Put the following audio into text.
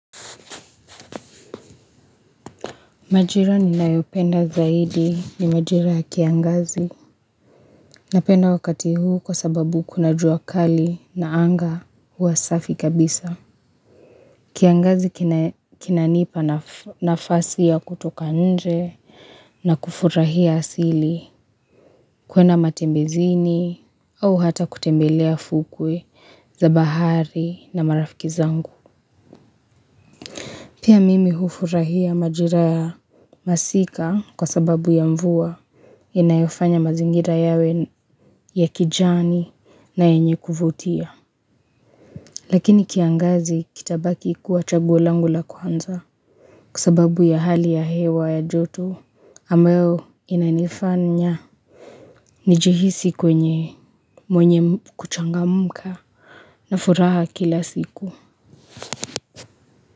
Majira ninayopenda zaidi ni majira ya kiangazi. Napenda wakati huu kwa sababu kuna jua kali na anga huwa safi kabisa. Kiangazi kinanipa nafasi ya kutoka nje na kufurahia asili kuenda matembezini au hata kutembelea fukwe za bahari na marafiki zangu. Pia mimi hufurahia majira ya masika kwa sababu ya mvua inayofanya mazingira yawe ya kijani na yenye kuvutia lakini kiangazi kitabaki kuwa chaguo langu la kwanza kwa sababu ya hali ya hewa ya joto ambayo inanifanya nijihisi kwenye mwenye kuchangamka na furaha kila siku.